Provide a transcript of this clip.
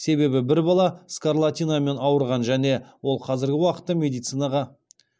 себебі бір бала скарлатинамен ауырған және ол қазіргі уақытта медицинаға